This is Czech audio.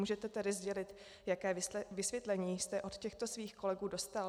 Můžete tedy sdělit, jaké vysvětlení jste od těchto svých kolegů dostal?